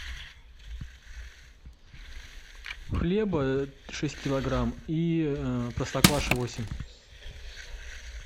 хлеба шесть килограмм и простокваши восемь